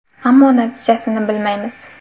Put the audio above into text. Ammo natijasini bilmaymiz.